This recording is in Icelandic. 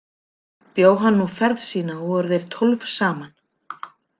Bjó hann nú ferð sína og voru þeir tólf saman.